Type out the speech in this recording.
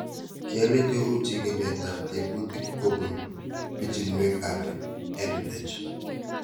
Kele cheu chig'ilet ab tebutik kopun pichinwek ab EdTech